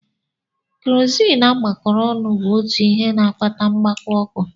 Kerozini agbakọrọ ọnụ bụ otu ihe na-akpata mgbawa ọkụ.